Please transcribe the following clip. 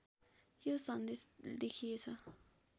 यो सन्देश देखिएछ